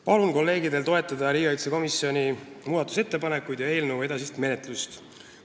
Palun kolleegidel toetada riigikaitsekomisjoni muudatusettepanekuid ja eelnõu edasist menetlust.